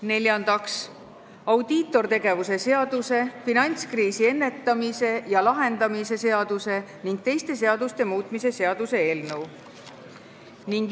Neljandaks, audiitortegevuse seaduse, finantskriisi ennetamise ja lahendamise seaduse ning teiste seaduste muutmise seaduse eelnõu.